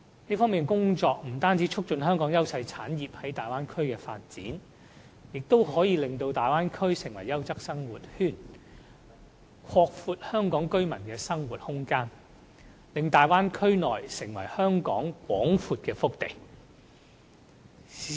這方面的工作，不但可以促進香港優勢產業在大灣區的發展，亦會令大灣區成為優質生活圈，拓闊香港居民的生活空間，使大灣區成為香港廣闊的腹地。